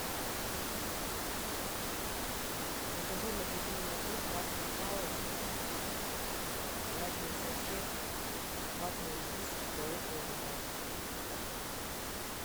закажи в магазине магнит ватные палочки влажные салфетки ватные диски туалетную бумагу